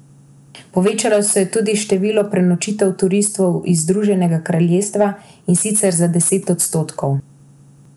Povečalo se je tudi število prenočitev turistov iz Združenega kraljestva, in sicer za deset odstotkov.